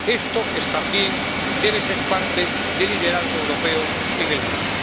Esto también debe ser parte del liderazgo europeo en el mundo.